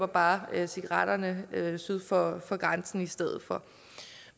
bare køber cigaretterne syd for for grænsen i stedet for